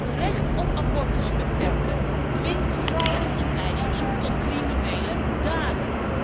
Het recht op abortus beperken dwingt vrouwen en meisjes tot criminele daden.